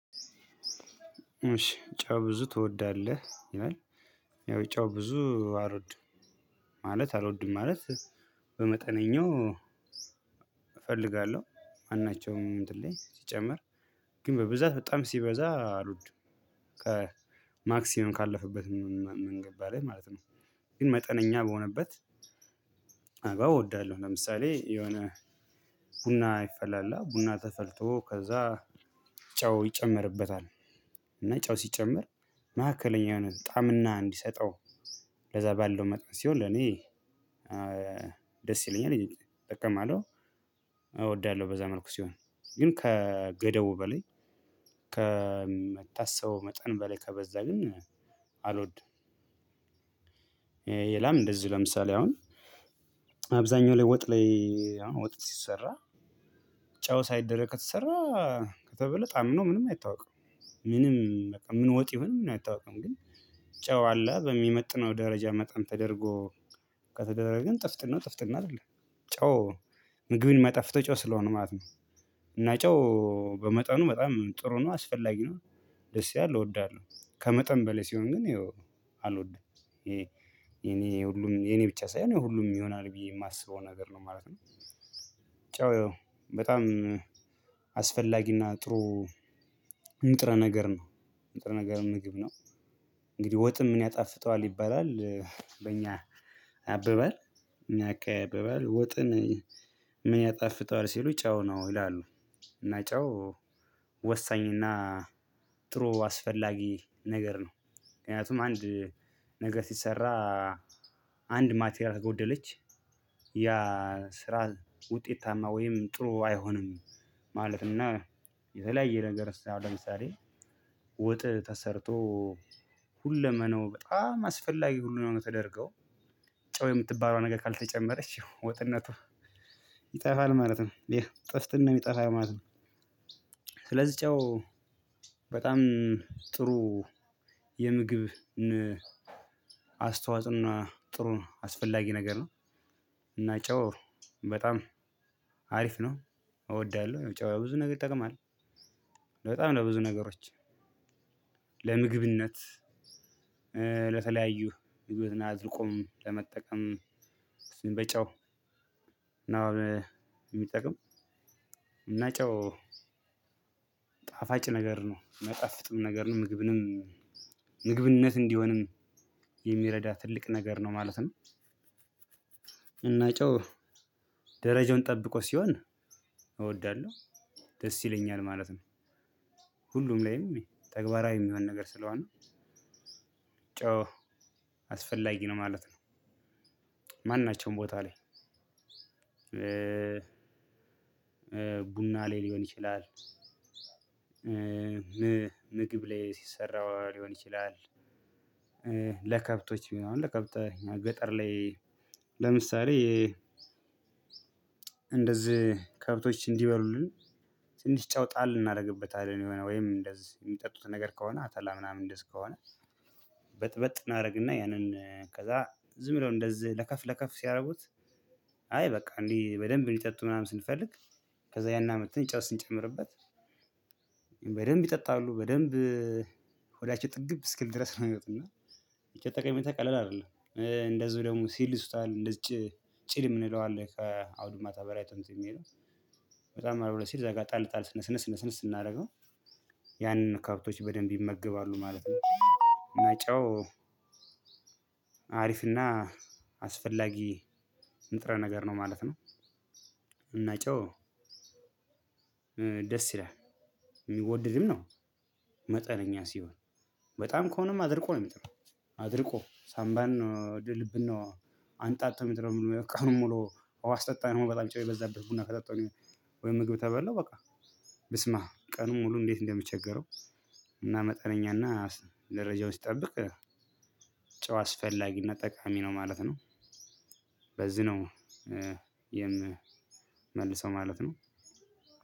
እሺ ጨው ብዙ ትወዳለህ ይላል። ያው ጨው ብዙ አልወድም። ማለት አልወድም ማለት። በመጠነኛው እፈልጋለሁ ማናቸውም እንትን ላይ ሲጨመር። ግን በብዛት በጣም ሲበዛ አልወድም። ከማክሲመም ካለፈበት ምንገድ ማለት ነው። ግን መጠነኛ በሆነበት አበባ እወዳለሁ። ለምሳሌ የሆነ ቡና ይፈላላ ቡና ተፈልቶ ከዛ ጨው ይጨመርበታል። እና ጨው ሲጨምር መካከለኛ የሆነ ጣዕምና እንዲሰጠው። ለዛ ባለው መጥበስ ሲሆን ለኔ ደስ ይለኛል እጠቀማለው። እወዳለሁ በዛ መልኩ ሲሆን ግን ከገደቡ በላይ ከመታስበው መጠን በላይ ከበዛ ግን አልወድም። የላም እንደዚሁ ለምሳሌ አሁን አብዛኛው ላይ ወጥ ላይ አሁን ወጥ ሲሰራ ጨው ሳይደረግ ከተሰራ ከተበለጠ አምኖ ምንም አይታወቅም። ምንም በቃ ምን ወጥ ይሁን ምን አይታወቅም ግን ጨው አለ በሚመጥነው ደረጃ መጠን ተደርጎ ከተደረገ ግን ጥፍጥናው ጥፍጥና አይደለም። ጨው ምግብን ሚያጣፍጠው ጨው ስለሆነ ማለት ነው። እና ጨው በመጠኑ በጣም ጥሩ ነው አስፈላጊ ነው። ደስ ይላል እወዳለሁ ከመጠን በላይ ሲሆን ግን ያው አልወድም። ይሄ የኔ ሁሉም የኔ ብቻ ሳይሆን የሁሉም ይሆናል ብዬ የማስበው ነገር ነው ማለት ነው። ጨው በጣም አስፈላጊና ጥሩ ንጥረ ነገር ነው። ንጥረ ነገር ምግብ ነው። እንግዲህ ወጥን ምን ያጣፍጠዋል ይባላል። በእኛ አባባል እኛ አካባቢ አባባል ወጥን ምን ያጣፍጠዋል ሲሉ ጨው ነው ይላሉ። እና ጨው ወሳኝና ጥሩ አስፈላጊ ነገር ነው። ምክንያቱም አንድ ነገር ሲሰራ አንድ ማቴሪያል ከጎደለች ያ ስራ ውጤታማ ወይም ጥሩ አይሆንም። ማለትና የተለያየ ነገር አሁን ለምሳሌ ወጥ ተሰርቶ ሁለመነው በጣም አስፈላጊ ሁሉንም ተደርገው ጨው የምትባለዋ ነገር ካልተጨመረች ወጥነቷ ይጠፋል ማለት ነው ይሄ ጥፍትነው ይጠፋል ማለት ነው። ስለዚህ ጨው በጣም ጥሩ የምግብ አስተዋጽኦና ጥሩ አስፈላጊ ነገር ነው። እና ጨው በጣም አሪፍ ነው። እወዳለሁ ጨው ብዙ ነገር ይጠቅማል በጣም ለብዙ ነገሮች። ለምግብነት ለተለያዩ ሂዎትን አድርቆም ለመጠቀም ስንበጨው እና የሚጠቅም እና ጨው ጣፋጭ ነገር ነው ማይጣፍጥም ነገር ነው ምግብንም ምግብነት እንዲሆንም የሚረዳ ትልቅ ነገር ነው ማለት ነው። እና ጨው ደረጃውን ጠብቆ ሲሆን እወዳለሁ ደስ ይለኛል ማለት ነው። ሁሉም ላይም ተግባራዊ የሚሆን ነገር ስለሆነ ጨው አስፈላጊ ነው ማለት ነው። ማንናቸውም ቦታ ላይ ቡና ላይ ሊሆን ይችላል። ምግብ ላይ ሲሰራ ሊሆን ይችላል። ለከብቶች ቢሆን ለከብተ ገጠር ላይ ለምሳሌ እንደዚህ ከብቶች እንዲበሉልን ትንሽ ጨው ጣል እናደርግበታለን የሆነ ወይም እንደዚህ የሚጠጡት ነገር ከሆነ አተላ ምናምን እንደዚህ ከሆነ። በጥበጥ እናደርግና ያንን ከዛ ዝም ብሎ እንደዚህ ለከፍ ለከፍ ሲያደርጉት አይ በቃ እንዴ በደንብ እንዲጠጡ ምናምን ስንፈልግ ከዛ ያን አምተን ጨው ስንጨምርበት። በደንብ ይጠጣሉ በደንብ ሆዳቸው ጥግብ እስኪል ድረስ ነው የሚወጡ እና። ብቻ ጠቀሜታ ቀለል አይደለም እንደዚሁ ደግሞ ሲል ይሱታል እንደዚህ ጭድ የምንለው አለ ከአውዱ ማታ በራይቶን የሚሄደው በጣም አረብ ሲል እዛ ጋር ጣል ጣል ነስነስ ነስነስ ስናደርገው ያንን ከብቶች በደንብ ይመገባሉ ማለት ነው። እና ጨው አሪፍና አስፈላጊ ንጥረ ነገር ነው ማለት ነው። እና ጨው ደስ ይላል የሚወደድም ነው። መጠነኛ ሲሆን በጣም ከሆነም አድርቆ ነው የሚጥለው። አድርቆ ሳምባን ነው ድልብን ነው አንጣጦ ሚጥለው ቀኑን ሙሉ ውሃ ስጠጣ ነው በጣም ጨው የበዛበት ቡና ከጠጣሁኝ። ወይ ምግብ ተበላሁ በቃ ብስማም ቀኑን ሙሉ እንዴት እንደምቸገረው። እና መጠነኛና ደረጃው ሲጠብቅ ጨው አስፈላጊና ጠቃሚ ነው ማለት ነው። በዚህ ነው የምመልሰው ማለት ነው።